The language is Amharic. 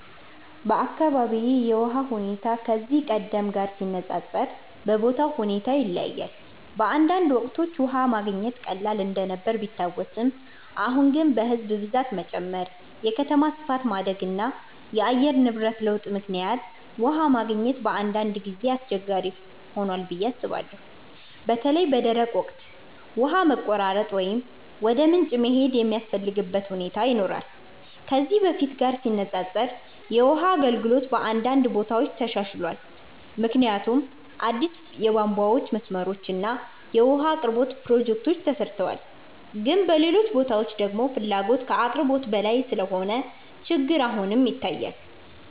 በአካባቢዬ የውሃ ሁኔታ ከዚህ ቀደም ጋር ሲነፃፀር በቦታው ሁኔታ ይለያያል። በአንዳንድ ወቅቶች ውሃ መገኘት ቀላል እንደነበር ቢታወስም፣ አሁን ግን በሕዝብ ብዛት መጨመር፣ የከተማ ስፋት ማደግ እና የአየር ንብረት ለውጥ ምክንያት ውሃ ማግኘት በአንዳንድ ጊዜ አስቸጋሪ ሆኗል ብዬ አስባለሁ። በተለይ በደረቅ ወቅት ውሃ መቆራረጥ ወይም ወደ ምንጭ መሄድ የሚያስፈልግበት ሁኔታ ይኖራል። ከዚህ በፊት ጋር ሲነፃፀር የውሃ አገልግሎት በአንዳንድ ቦታዎች ተሻሽሏል፣ ምክንያቱም አዲስ የቧንቧ መስመሮች እና የውሃ አቅርቦት ፕሮጀክቶች ተሰርተዋል። ግን በሌሎች ቦታዎች ደግሞ ፍላጎት ከአቅርቦት በላይ ስለሆነ ችግር አሁንም ይታያል።